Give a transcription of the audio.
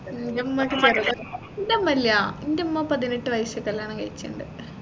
ഇൻറ്റുമ്മാക്ക് മടുത്തു ഇൻറ്റുമ്മ പതിനെട്ട് വയസ്സിൽ കല്യാണം കഴിച്ചിൻണ്ട്